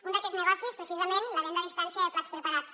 un d’aquests negocis precisament la venda a distància de plats preparats